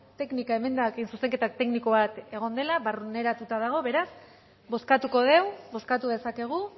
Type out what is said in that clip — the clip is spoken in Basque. teknika emendakin zuzenketa tekniko bat egon dela barneratuta dago beraz bozkatuko dugu bozkatu dezakegu